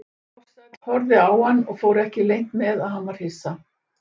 Ársæll horfði á hann og fór ekki leynt með að hann var hissa.